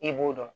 I b'o dɔn